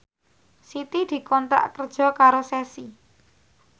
Siti dikontrak kerja karo Ceci